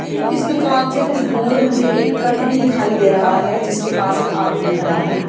इस दुकान से कुछ दूर मुझे एक ट्रक भी दिखाई दे रहा है जिसके पास एक आदमी खड़ा है।